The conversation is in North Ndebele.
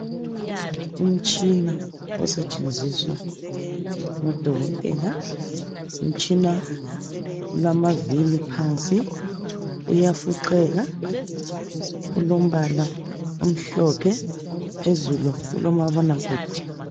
Umtshina osetshenziswa ngudokotela, ngumtshina olamavili phansi uyafuqeka. Ulombala omhlophe phezulu ulomabonakude.